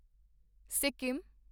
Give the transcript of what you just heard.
Sikkim